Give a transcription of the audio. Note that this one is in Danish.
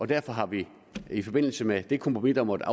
derfor har vi i forbindelse med det kompromis der måtte